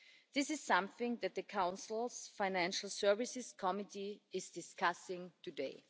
This is something that the Council's Financial Services Committee is discussing today.